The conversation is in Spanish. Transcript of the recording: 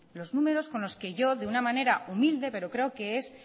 los números con los que yo de una manera humilde pero creo que es